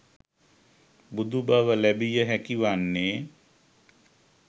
බුදු බව ලැබිය හැකි වන්නේ